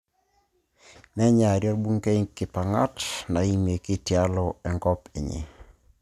Neenyari orbungei inkipangat naimieki tialo enkop enye